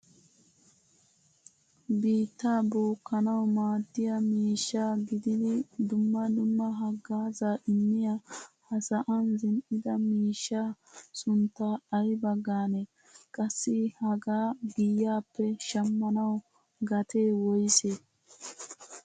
Biitta bookanawu maadiyaa miishsha gididi dumma dumma hagazza immiyaa ha sa'an zin'ida miishshaa suntta ayba gaane? Qassi hagaa giyappe shamanwu gatee woyse?